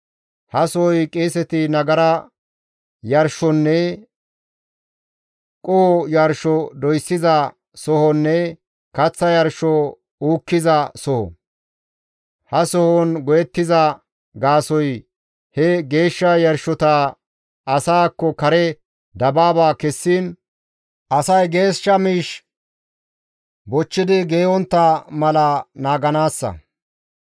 He sohoy qeeseti nagara yarshonne qoho yarsho doyssiza sohonne kaththa yarsho uukkiza soho; ha sohon go7ettiza gaasoykka he geeshsha yarshota asaakko kare dabaaba kessiin, asay geeshsha miish bochchidi geeyontta mala naaganaassa.